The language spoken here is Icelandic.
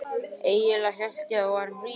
Eiginlega hélt ég að við værum rík.